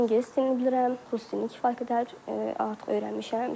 İngilis dilini bilirəm, Rus dilini kifayət qədər artıq öyrənmişəm.